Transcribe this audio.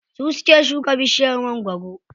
Su suke shuka bishiyar mangwaro.